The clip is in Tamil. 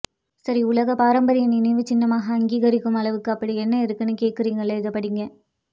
சரி உலக பாரம்பரிய நினைவு சின்னமாக அங்கீகரிக்கும் அளவுக்கு அப்படி என்ன இருக்குனு கேட்குறீங்களா இத படிங்க